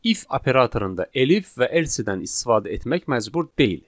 İf operatorunda da elif və else-dən istifadə etmək məcbur deyil.